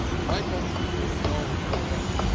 My country has no dilemma.